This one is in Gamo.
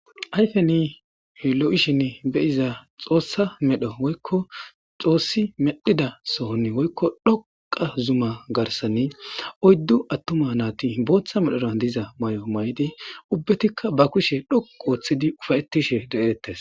Ayifeni loishini beiza xosa meedhowoyikko xosi medhida sohoni woyikkodhoqa zuma garsani oyiddu atima nati botha medhara diza mayo mayidi ubateka ba kushe dhoqu otidi ufaytishe deates.